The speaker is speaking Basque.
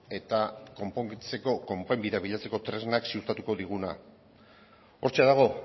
eta konponbidea bilatzeko tresnak ziurtatuko diguna hortxe dago